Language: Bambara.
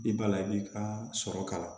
I b'a la i b'i ka sɔrɔ ka kala